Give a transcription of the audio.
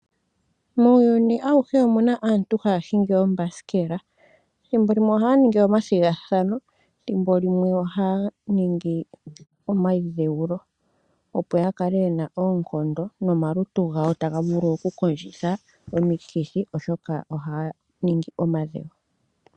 Muuyuni awuhe omuna aantu haya hingi ombasikela. Ethimbo limwe ohaya ningi omathigathano dhimbo limwe ohaya ningi omaidheulo, opo yakale yena oonkondo nomalutu gawo taga vulu oku kondjitha omikithi, oshoka ohaya ningi omadhewo.